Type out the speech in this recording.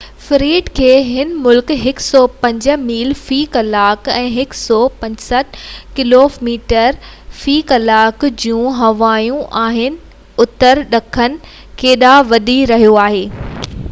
Fred کي هن وقت 105 ميل في ڪلاڪ 165 ڪلوميٽر في ڪلاڪ جون هوائون آهن ۽ اتر ڏکڻ ڪنڍ ڏانهن وڌي رهيو آهي